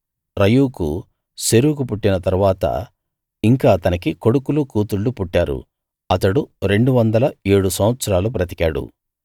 రయూకు Serug పుట్టిన తరువాత ఇంకా అతనికి కొడుకులు కూతుళ్ళు పుట్టారు అతడు రెండు వందల ఏడు సంవత్సరాలు బతికాడు